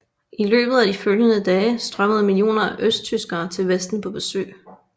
I løbet af de følgende dage strømmede millioner af østtyskere til Vesten på besøg